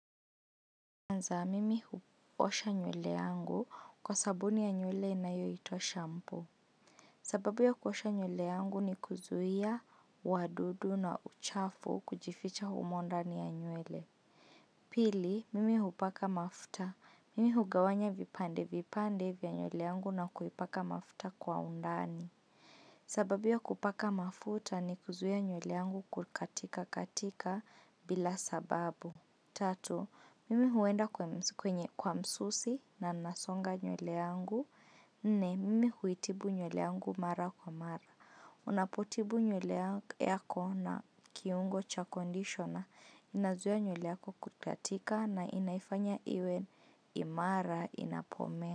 Anza, mimi huosha nywele yangu kwa sabuni ya nywele inayo itwa shampoo sababu ya kuosha nywele yangu ni kuzuia, wadudu na uchafu kujificha humondani ya nywele. Pili, mimi hupaka mafuta. Mimi hugawanya vipande vipande vya nywele yangu na kuipaka mafuta kwa undani. Sababu ya kupaka mafuta ni kuzuia nyule yangu kukatika katika bila sababu. Tatu, mimi huenda kwenye kwa msusi na nasonga nywele yangu. Nne, mimi huitibu nywele yangu mara kwa mara. Unapotibu nywele yako na kiungo cha conditioner, inazuia nywele yako kukatika na inaifanya iwe imara inapomea.